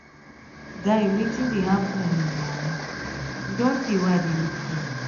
guy wetin dey happen um na e don tey wey i dey look for you